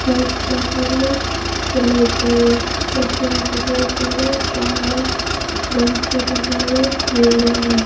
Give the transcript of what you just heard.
लेती है काला गमछे का कलर पीला है।